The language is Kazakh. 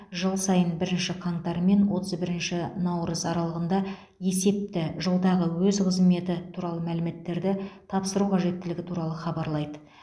жыл сайын бірінші қаңтар мен отыз бірінші наурыз аралығында есепті жылдағы өз қызметі туралы мәліметтерді тапсыру қажеттілігі туралы хабарлайды